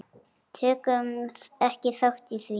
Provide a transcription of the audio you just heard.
Tökum ekki þátt í því.